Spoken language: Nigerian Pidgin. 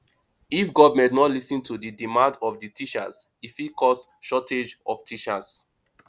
if government no lis ten to di demand of di teachers e fit cause shortage of teachers